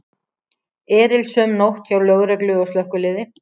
Erilsöm nótt hjá lögreglu og slökkviliði